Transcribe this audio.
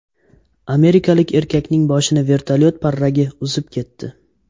Amerikalik erkakning boshini vertolyot parragi uzib ketdi.